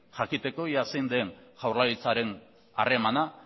jakiteko ea zein den jaurlaritzaren harremana